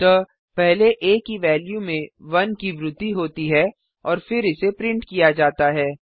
अतः पहले आ की वेल्यू में 1 की वृद्धि होती है और फिर इसे प्रिंट किया जाता है